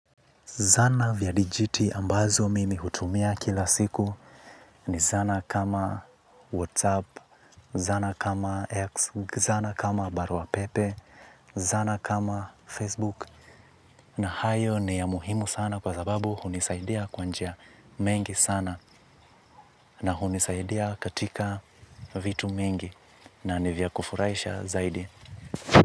Zana vya dijiti ambazo mimi hutumia kila siku ni zana kama WhatsApp, zana kama X, zana kama barua pepe, zana kama Facebook. Na hayo ni ya muhimu sana kwa sababu hunisaidia kwa njia mengi sana na hunisaidia katika vitu mengi na ni vya kufurahisha zaidi.